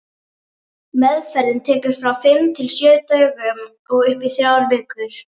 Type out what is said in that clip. Meðferðin tekur frá fimm til sjö dögum og upp í þrjár vikur.